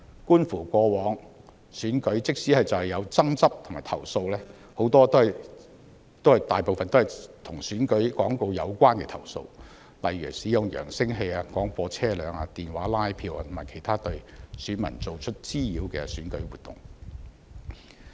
觀乎過往的選舉，即使有爭執及投訴，大部分都是與選舉廣告有關的投訴，例如使用揚聲器、廣播車輛、電話拉票或其他對選民造成滋擾的選舉活動。